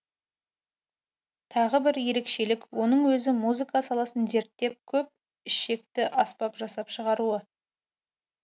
тағы бір ерекшелік оның өзі музыка саласын зерттеп көп ішекті аспап жасап шығаруы